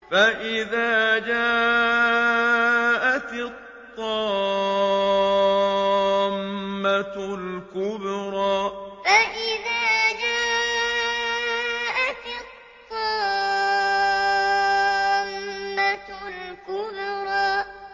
فَإِذَا جَاءَتِ الطَّامَّةُ الْكُبْرَىٰ فَإِذَا جَاءَتِ الطَّامَّةُ الْكُبْرَىٰ